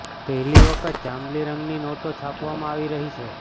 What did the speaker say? પહેલી વખત જાંબલી રંગની નોટો છાપવામાં આવી રહી છે